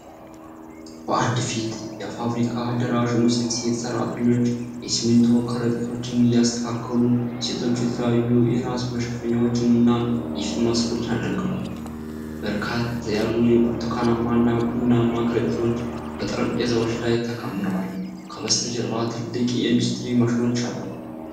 በአንድ ሰፊ የፋብሪካ አዳራሽ ውስጥ ሴት ሰራተኞች የሲሚንቶ ከረጢቶችን እያስተካከሉ። ሴቶቹ የተለያዩ የራስ መሸፈኛዎችን እና የፊት ማስኮችን አድርገዋል። በርከት ያሉ የብርቱካናማ እና ቡናማ ከረጢቶች በጠረጴዛዎች ላይ ተከምረዋል። ከበስተጀርባ ትላልቅ የኢንዱስትሪ ማሽኖች አሉ?